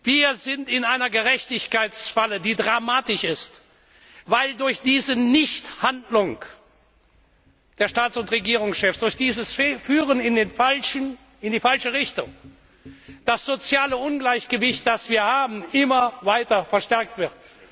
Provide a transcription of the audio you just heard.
Wir sind in einer Gerechtigkeitsfalle, die dramatisch ist, weil durch dieses Nichthandeln der Staats und Regierungschefs, durch dieses Führen in die falsche Richtung das soziale Ungleichgewicht, das wir haben, immer weiter verstärkt wird.